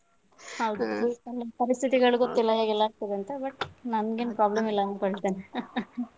ಹೌದು ಪರಿಸ್ಥಿತಿಗಳು ಗೊತ್ತಿಲ್ಲ ಹೇಗೆ ಎಲ್ಲ ಆಗ್ತದೆ ಅಂತ. but ನಂಗೇನು problem ಇಲ್ಲ ಅಂದ್ಕೊಳ್ತೇನೆ .